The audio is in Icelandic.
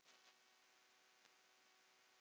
NEi DJÓK!